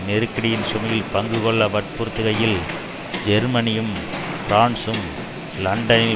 நெருக்கடியின் சுமையில் பங்கு கொள்ள வற்புறுத்துகையில் ஜெர்மனியும் பிரான்ஸும் லண்டனில்